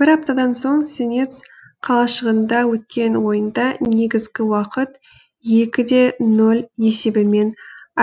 бір аптадан соң сенец қалашығында өткен ойында негізгі уақыт екі де ноль есебімен